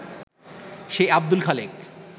সেই আব্দুল খালেক